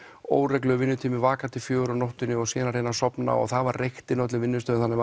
óreglulegur vinnutími vaka til fjögur á nóttinni og síðan að reyna að sofna og það var reykt inni á öllum vinnustöðum þannig